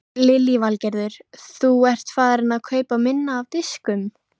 Innflutningur annarra er því virðisaukaskattskyldur þar með uppboðshaldara.